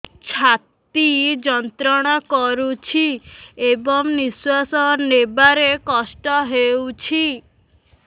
ଛାତି ଯନ୍ତ୍ରଣା କରୁଛି ଏବଂ ନିଶ୍ୱାସ ନେବାରେ କଷ୍ଟ ହେଉଛି